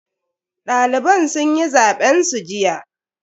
Daliban sun yi zaben su jiya.